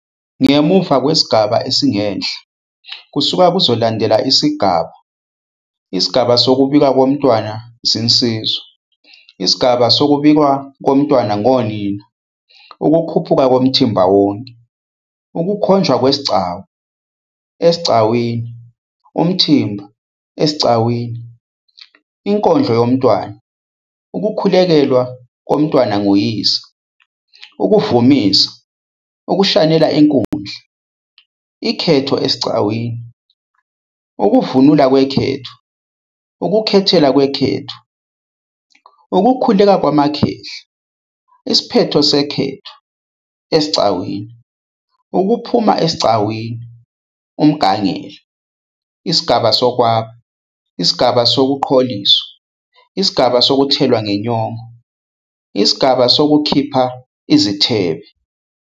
Ngemuka kwesigaba esingenhla kusuke kuzolandela isigaba isigaba sokubikwa kontwana zinsizwa, isigaba sokubikwa komntwana ngonina, ukukhuphuka komthimba wonke, ukukhonjwa kwesigcawu, esigcawini, umthimba esigcawini, inkondlo yomntwana, ukukhulekelwa komntwana nguyise, ukuvumisa, ukushanela inkundla, ikhetho esigcawini, ukuvunula kwekhetho, ukukhethela kwekhetho, ukukhuleka kwamakhehla, isiphetho sekhetho esigcawini, ukuphuma esigcawini, umgangela, isigaba sokwaba, isigaba sokuqholiswa, isigaba sokuthelwa ngenyongo, isigaba sokukhipha izithebe.